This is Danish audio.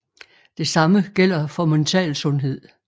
Det samme gælder for mental sundhed